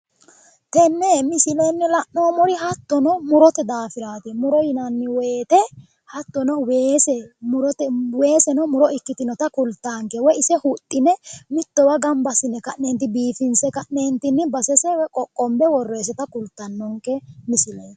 Tenne misilenni la'noommohu hattono murote daafiraati. muro yinanni woyiite, hattono weeseno muro ikkitinota kultaanke woyi ise huxxine mittowa gamba assine ka'neenti biifinse ka'neentinni basese qoqqombe worroyiiseta kultannonke misileeti.